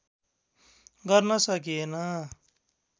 गर्न सकिएन